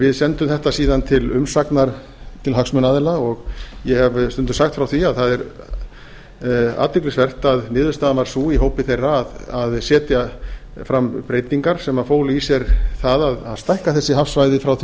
við sendum þetta síðan til umsagnar til hagsmunaaðila og ég hef stundum sagt frá því að það er athyglisvert að niðurstaðan varð sú í hópi þeirra að setja fram breytingar sem fólu í sér það að stækka þessi hafsvæði frá því